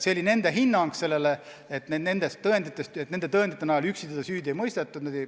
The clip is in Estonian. Nende hinnang oli, et nende tõendite najal üksi kedagi süüdi ei mõistetud.